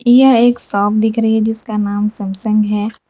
यह एक शॉप दिख रही है जिसका नाम सैमसंग है।